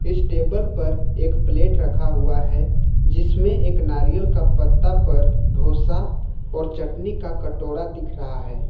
इस टेबल पर एक प्लेट रखा हुआ है जिसमें एक नारियल के पत्ता पर ढोसा और चटनी का कटोरा दिख रहा है।